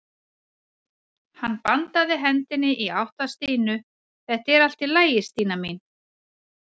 Hann bandaði hendinni í átt að Stínu: Þetta er allt í lagi Stína mín.